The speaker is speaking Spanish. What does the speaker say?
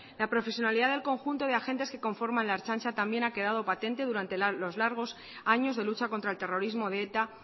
la profesionalidad del conjunto de agentes que conforman la ertzaintza también ha quedado patente durante los largos años de lucha contra el terrorismo de eta